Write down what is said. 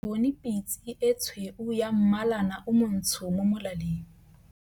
Ke bone pitse e tshweu ya mmalana o montsho mo molaleng.